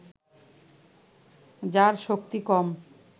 যার শক্তি কম